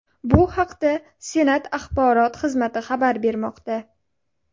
Bu haqda Senat axborot xizmati xabar bermoqda .